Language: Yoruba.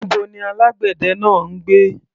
Níbo ni alágbẹ̀dẹ náà ń gbé?